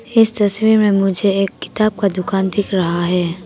इस तस्वीर में मुझे एक किताब का दुकान दिख रहा है।